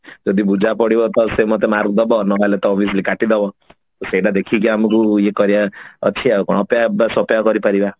ଯଦି ବୁଝା ପଡିବ ସେ ମତେ mark ଦବ ନହେଲେ t obviously କାଟି ଦବ ସେଟା ଦେଖିକି ଆମକୁ ଇଏ କରିବା ଅଛି ଆଉ କଣ ଅପେକ୍ଷା ବସ ଅପେକ୍ଷା କରି ପାରିବା